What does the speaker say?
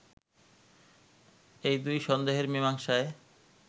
এই দুই সন্দেহের মীমাংসায়